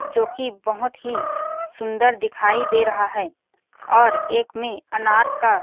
जोकि बहोत ही सुन्दर दिखाई दे रहा है और एक में अनार का --